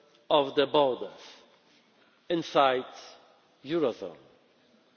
temporary closure of the borders inside